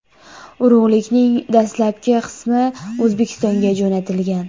Urug‘likning dastlabki qismi O‘zbekistonga jo‘natilgan.